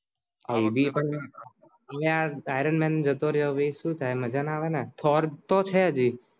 લ્યા iron man જતો ર્યો બે સુ છે મજા ના આવે ને thor તો છે જ